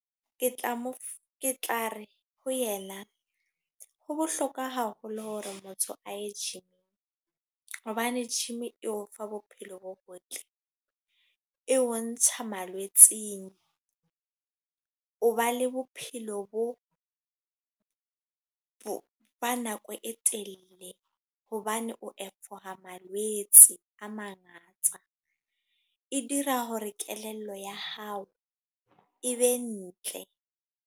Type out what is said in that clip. Ke tla mo, ke tlare ho yena. Ho bohlokwa haholo hore motho a ye gym. Hobane gym e o fa bophelo bo botle, e o ntsha malwetseng. O ba le bophelo bo ba nako e telle. Hobane o malwetse a mangata. E dira hore kelello ya hao e be ntle.